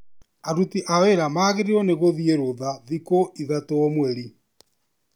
Aruti a wĩra magĩrĩirwo nigũthiĩ rũtha thikũ ithatũ o mweri.